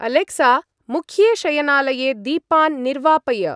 Alexa! मुख्ये शयनालये दीपान् निर्वापय।